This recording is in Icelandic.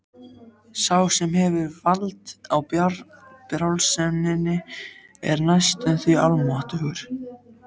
Sá sem hefur vald á brjálseminni er næstum því almáttugur.